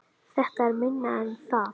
Þetta er minna en það